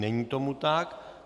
Není tomu tak.